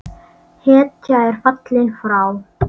Hetja er fallin frá!